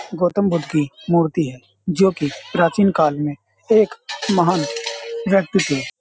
गौतम बुद्ध की मूर्ति है जोकि प्राचीन काल में एक महान व्यक्ति थे।